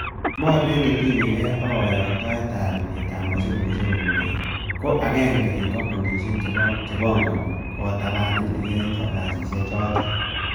Mornet netinye gee ak koyoktoet ak ibet ab mosigosiek kobun beek, ko agenge en kompunisiek chepongoni kotaban elekiyoen kasisiekchoton.